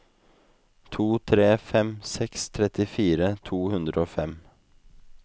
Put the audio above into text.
to tre fem seks trettifire to hundre og fem